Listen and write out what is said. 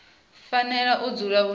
fanela u dzula hu na